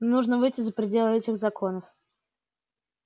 нужно выйти за пределы этих законов